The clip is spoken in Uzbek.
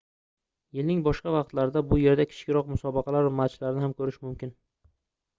yilning boshqa vaqtlarida bu yerda kichikroq musobaqalar va matchlarni ham koʻrish mumkin